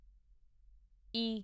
ਈ